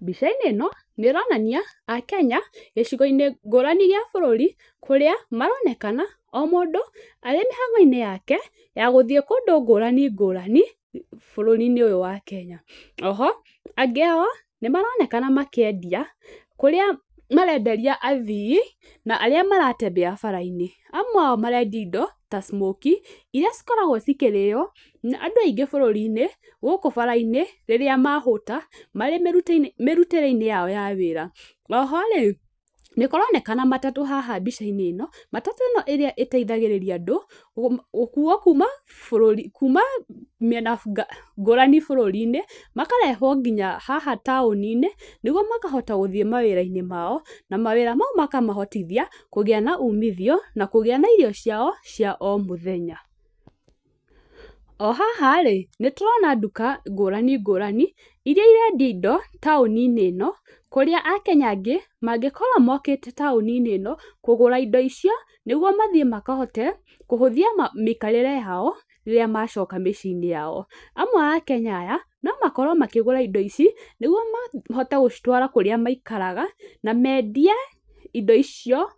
Mbica-inĩ ĩno nĩ ĩronania akenya gĩcigo-inĩ ngũrani gĩa bũrũri, kũrĩa maronekana o mũndũ arĩ mĩhang'o-inĩ yake, ya gũthiĩ kũndũ ngũrani ngũrani bũrũri-inĩ ũyũ wa Kenya., Oho, angĩ ao nĩ maronekana makĩendia kũrĩa marenderia athii na arĩa maratembea bara-inĩ, amwe ao marendia indo ta smokie iria cikoragwo cikĩrĩo nĩ andũ aingĩ bũrũri-inĩ gũkũ bara-inĩ rĩrĩa mahũta marĩ mĩrutĩre-inĩ yao ya wĩra, oho rĩ nĩ kũronrkana matatũ haha mbica-inĩ ĩno, matatũ ĩno ĩrĩa ĩteithagĩrĩria andũ gũkuo kuuma bũrũri kuuma mĩena ngũrani bũrũri-inĩ, makarehwo nginya haha taũni-inĩ, nĩguo makahota gũthiĩ mawĩra-inĩ mao, na mawĩra mau makamahotithia kũgĩa na umithio, na kũgĩa na irio ciao cia o mũthenya. O haha rĩ, nĩ tũrona nduka ngũrani ngũrani, iria irendia indo taũni-inĩ ĩno, kũrĩa akenya angĩ mangĩkorwo mokĩte taũni-inĩ ĩno kũgũra indo icio, nĩguo mathiĩ makahote kũhũthia mĩikarĩre yao rĩrĩa macoka mĩciĩ-inĩ yao, amwe a akenya aya, no makorwo makĩgũra indo ici, nĩguo mahote gũcitwara kũrĩa maikaraga, na mendie indo icio